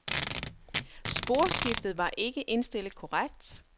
Sporskiftet var ikke indstillet korrekt.